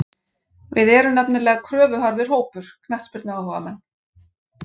Við erum nefnilega kröfuharður hópur, knattspyrnuáhugamenn.